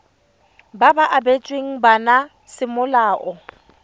ba ba abetsweng bana semolao